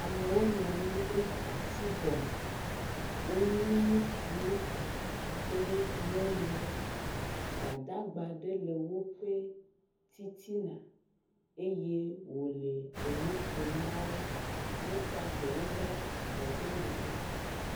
amewo nɔanyi ɖe ati gɔme wonyi ŋutuwo kpli nyɔnuwo gbadagba ɖe lɛ wóƒe titina eye wòle eŋuƒom nawo eye eɖewo blabɔ ɖe megbe